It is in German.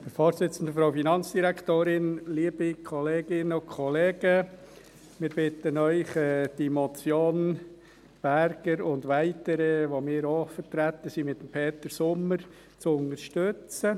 Wir bitten Sie, die Motion Berger und weitere, unter denen wir mit Peter Sommer auch vertreten sind, als Motion zu unterstützten.